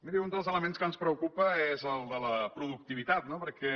miri un dels elements que ens preocupa és el de la productivitat no perquè